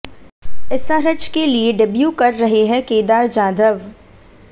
SRH के लिए debut कर रहे हैं केदार जाधव